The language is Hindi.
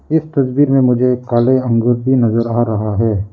इस तस्वीर में मुझे काले अंगूर भी नजर आ रहा है।